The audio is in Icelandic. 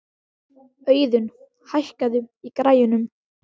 Auðun, hækkaðu í græjunum.